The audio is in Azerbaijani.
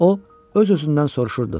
O öz-özündən soruşurdu: